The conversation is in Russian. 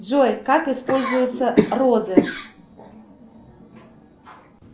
джой как используются розы